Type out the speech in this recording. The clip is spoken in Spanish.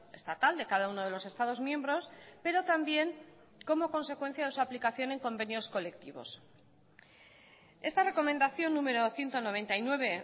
estatal de cada uno de los estados miembros pero también como consecuencia de su aplicación en convenios colectivos esta recomendación número ciento noventa y nueve